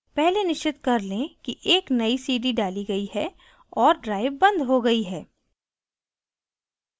पहले निश्चित कर लें कि एक नयी cd डाली गयी है और drive बंद हो गयी है